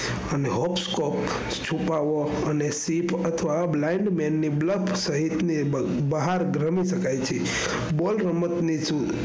hotskop અથવા છુપાયો અને ship અથવા blindmen ની બહાર ગરમી શકાય છે ball રમત ની છુટ.